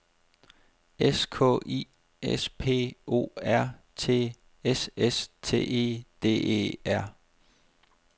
S K I S P O R T S S T E D E R